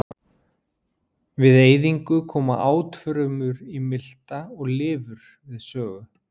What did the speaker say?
Við eyðingu koma átfrumur í milta og lifur við sögu.